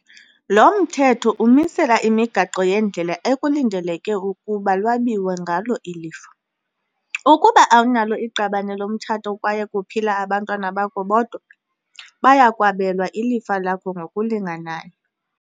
Lo Mthetho umisela imigaqo yendlela ekulindeleke ukuba lwabiwe ngalo ilifa. Ukuba awunalo iqabane lomtshato kwaye kuphila abantwana bakho bodwa, baya kwabelwa ilifa lakho ngokulinganayo.